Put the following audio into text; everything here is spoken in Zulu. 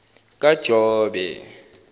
kajobe